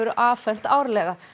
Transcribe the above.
afhent árlega